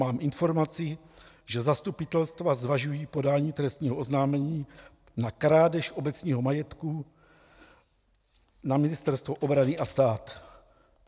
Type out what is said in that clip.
Mám informaci, že zastupitelstva zvažují podání trestního oznámení na krádež obecního majetku na Ministerstvo obrany a stát.